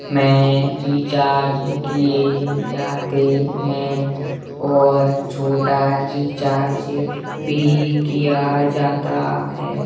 में रिचार्ज किये जातें हैं और छोटा रिचार्ज भी किया जाता है।